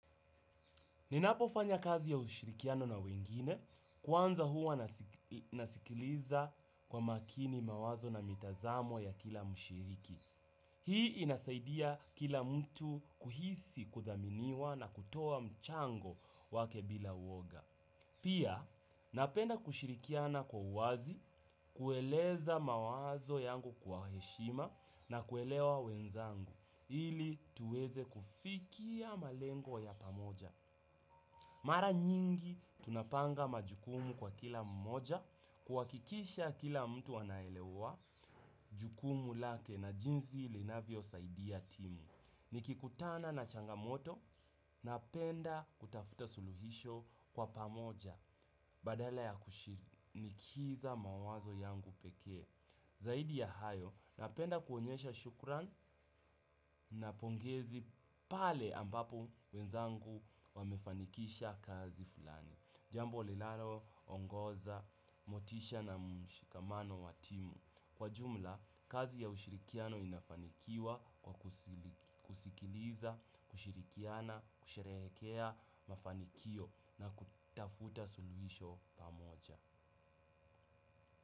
Ninapofanya kazi ya ushirikiano na wengine, kwanza huwa nasikiliza kwa makini mawazo na mitazamo ya kila mshiriki. Hii inasaidia kila mtu kuhisi kuthaminiwa na kutoa mchango wake bila uoga. Pia, napenda kushirikiana kwa uwazi, kueleza mawazo yangu kwa heshima na kuelewa wenzangu, ili tuweze kufikia malengo ya pamoja. Mara nyingi tunapanga majukumu kwa kila mmoja kuhakikisha kila mtu anaelewa jukumu lake na jinsi linavyosaidia timu. Nikikutana na changamoto napenda kutafuta suluhisho kwa pamoja badala ya kushinikiza mawazo yangu pekee. Zaidi ya hayo napenda kuonyesha shukrani na pongezi pale ambapo wenzangu wamefanikisha kazi fulani. Jambo linaloongoza motisha na mshikamano wa timu kwa jumla, kazi ya ushirikiano inafanikiwa kwa kusikiliza, kushirikiana, kusherehekea mafanikio na kutafuta suluhisho pamoja.